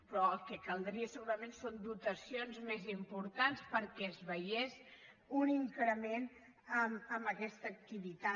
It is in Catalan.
però el que caldria segurament són dotacions més importants perquè es veiés un increment en aquesta activitat